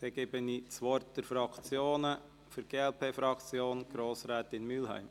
– Dann gebe ich das Wort den Fraktionen: für die glp-Fraktion Grossrätin Mühlheim.